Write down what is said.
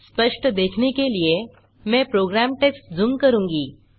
स्पष्ट देखने के लिए मैं प्रोग्राम टेक्स्ट झूम करूँगा